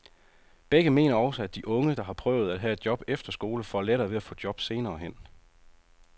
Begge mener også, at de unge, der har prøvet at have et job efter skole, får lettere ved at få et job senere hen.